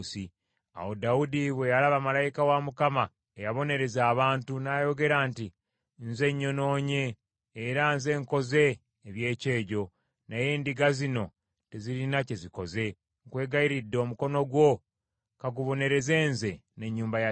Awo Dawudi bwe yalaba malayika wa Mukama Katonda eyabonereza abantu, n’ayogera nti, “Nze nnyonoonye era nze nkoze eby’ekyejo, naye endiga zino, tezirina kye zikoze. Nkwegayiridde, omukono gwo ka gubonereze nze n’ennyumba ya kitange.”